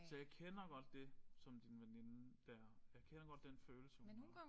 Så jeg kender godt det som din veninde der øh kender godt den følelse hun har